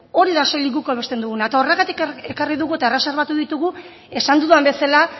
hori da soilik guk hobesten duguna eta horregatik ekarri dugu eta erreserbatu ditugu esan dudan bezala